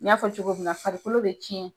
N y'a fɔ cogoya min na farikolo bɛ tiɲɛ.